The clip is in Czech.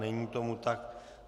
Není tomu tak.